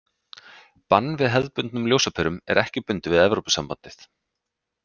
Bann við hefðbundnum ljósaperum er ekki bundið við Evrópusambandið.